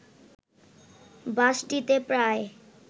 বাসটিতে প্রায়